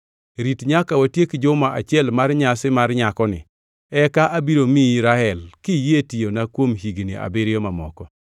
Rit nyaka watiek juma achiel mar nyasi mar nyakoni; eka abiro miyi Rael kiyie tiyona kuom higni abiriyo mamoko.”